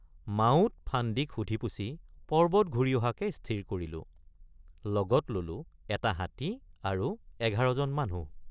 মাউত, ফান্দীক সুধিপুছি পৰ্বত ঘূৰি অহাকে স্থিৰ কৰিলোঁ৷ লগত ললোঁ এটা হাতী আৰু ১১ জন মানুহ।